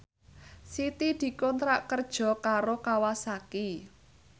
Siti dikontrak kerja karo Kawasaki